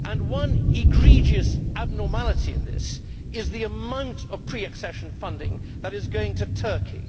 One egregious abnormality in this is the amount of pre accession funding that is going to Turkey.